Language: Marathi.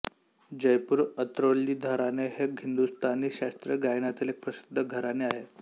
जयपूरअत्रौली घराणे हे हिंदुस्थानी शास्त्रीय गायनातील एक प्रसिद्ध घराणे आहे